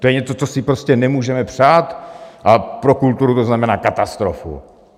To je něco, co si prostě nemůžeme přát, a pro kulturu to znamená katastrofu.